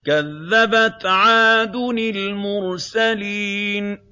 كَذَّبَتْ عَادٌ الْمُرْسَلِينَ